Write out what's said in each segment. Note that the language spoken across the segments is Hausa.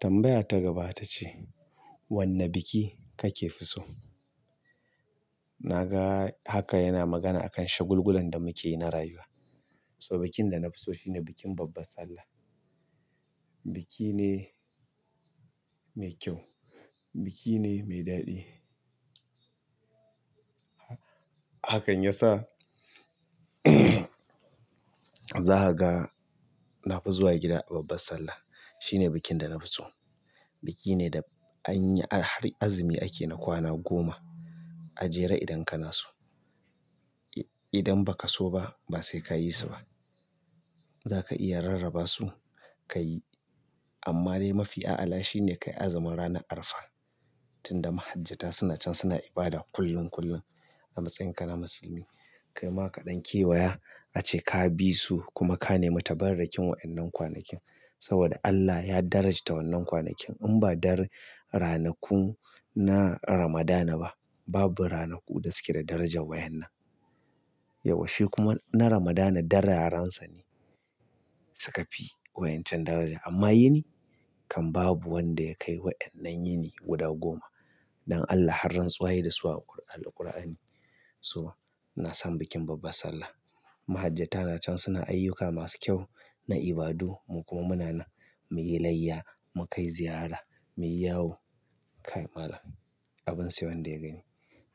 Tambaya ta gaba ta ce, "Wanne biki kake fi so?" Na ga haka yana magana akan shagulgulan da muke yi na rayuwa. So bikin da na fi so shine bikin babbar Sallah. Biki ne mai kyau, biki ne mai daɗi. Hakan ya sa za ka ga na fi zuwa gida a babbar Sallah. Shi ne bikin da na fi so. Biki ne da anyi har azumi ake na kwana goma. A jere idan kana so. Idan ba ka so ba, ba sai ka yi su ba. Zaka iya rarrabasu kai amma dai mafi ala shine ka yi azumin ranar Arfa. Tunda mahajjata suna can suna ibada kullun kullun a matsayin ka na musulmi, ka yi ma kaɗan kewaya a ce ka bi su kuma ka nemi tabarrakin wa'annan kwanakin. Saboda Allah ya darajata wannan kwanakin in ba dare ranaku na Ramadana ba. Babu ranaku da suke da darajar wayan nan. Yaushe kuma na Ramadana darayansa ne suka fi waƴancan daraja amma yini kan babu wanda ya kai wa'annan yini guda goma. Dan Allah har rantsuwa yai dasu a alkur'ani a jere idan kana so. Idan ba ka so ba, ba sai ka yi su ba. Mahajjata nacan suna aiyuka masu kyau na ibadu mu kuma muna nan muyi layya mu kai ziyara muyi yawo kai malam abin sayan da ya gani.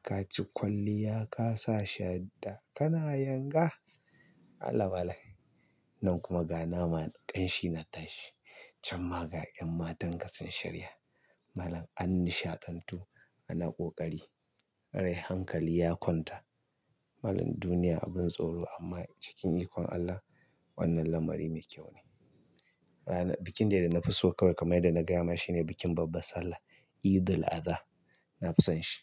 Ka ci kwalliya, ka sa shadda, kana yanga. Allah bala'i. Nan kuma ga nama ƙanshi na tashi. Can ma ga 'yan matan ka sun shirya malam an nisha dantu ana ƙoƙari. Rai hankali ya kwanta. Malam duniya abun tsoro amma cikin ikon Allah wannan lamari mekyau bikin dai danafi so kamar yadda naga yama shine bikin babbar sallah edel aza nafi son shi.